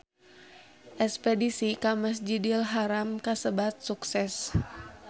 Espedisi ka Masjidil Haram kasebat sukses